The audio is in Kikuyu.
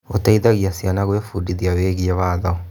Gũteithagia ciana gwĩbundithia wĩgiĩ watho.